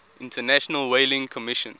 international whaling commission